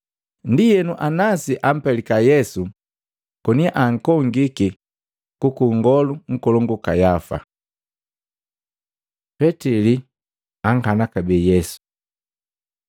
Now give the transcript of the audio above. Ndienu, Anasi ampelika Yesu koni ankongiki kwaka Nngolu Nkolongu Kayafa. Petili ankana kabee Yesu Matei 26:71-75; Maluko 14:69-72; Luka 22:58-62